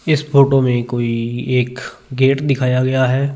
इस फोटो में कोई एक गेट दिखाया गया है।